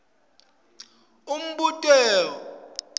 umbuto ube munye